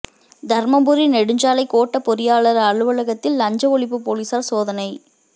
தருமபுரி நெடுஞ்சாலை கோட்டப் பொறியாளா் அலுவலகத்தில் லஞ்ச ஒழிப்பு போலீஸாா் சோதனை